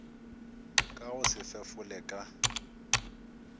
ka go se fefole ka